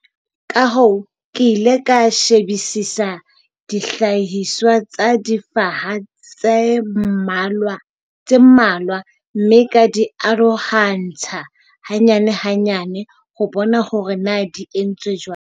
Ka hoo ke ile ka shebisisa dihlahiswa tsa difaha tse mmalwa mme ka di arohantsha hanyane-hanyane ho bona hore na di entswe jwang.